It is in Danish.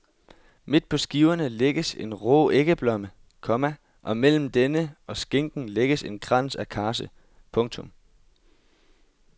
Midt på skiverne lægges en rå æggeblomme, komma og mellem denne og skinken lægges en krans af karse. punktum